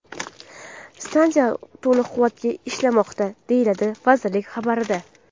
Stansiya to‘liq quvvatda ishlamoqda”, deyiladi vazirlik xabarida.